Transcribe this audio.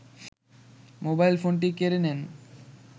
mobile ফোনটি কেড়ে নেন